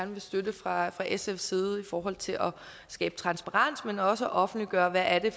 vil støtte fra sfs side i forhold til at skabe transparens men også for at offentliggøre hvad det